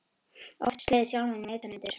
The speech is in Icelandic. Oft slegið sjálfan mig utan undir.